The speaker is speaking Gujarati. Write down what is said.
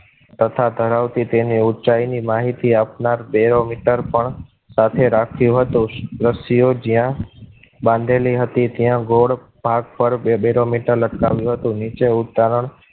તથા ધરાવતી તેને ઊંચાઈ ની માહિતી આપનાર barometer પણ સાથે રાખ્યો હતો. રસિયો જિયા બાંધેલી હતી ત્યાં ગોલ્ડ પાક પર barometer લટકા વ્યો હતો. નીચે ઉતારા